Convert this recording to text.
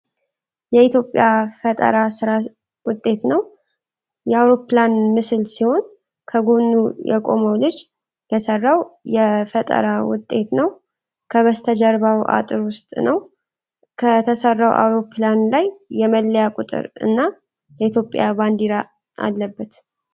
የኢትዮጵያ ፈጠራ ስራ ውጤት ነው። የአውሮ ፕላን ምስል ሲሆን ከጎኑ የቆመው ልጅ የሰራው የፈጠራ ውጤት ነው። ከበስተጀርባው እጥር ውስጥ ነው። ከተሰራው አውሮፕላን ላይ የመለያ ቁጥር እና የኢትዮጵያ ባንዲራ አለበት።